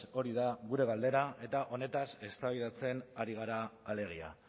hori da gure galdera eta honetaz eztabaidatzen ari gara alegia